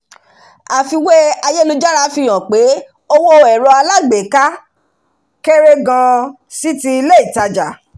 àfiwé ayélujára fihàn pe owó ẹ̀rọ alágbééká kéré gan-an sí ti ilé ìtajà